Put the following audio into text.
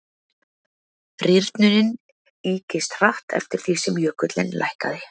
rýrnunin ykist hratt eftir því sem jökullinn lækkaði